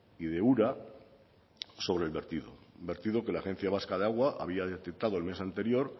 y de ura sobre el vertido un vertido que la agencia vasca del agua había detectado el mes anterior